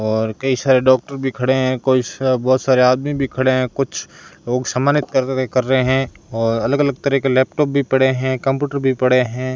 और कई सारे डॉक्टर भी खड़े हैं कोई सा बहोत सारे आदमी भी खड़े हैं कुछ लोग सम्मानित करर कर रहे हैं और अलग अलग तरह के लैपटॉप भी पड़े हैं कंप्यूटर भी पड़े हैं।